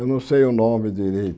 Eu não sei o nome